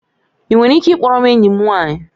Ị nwere ike ị kpọọrọ m enyi m nwanyị?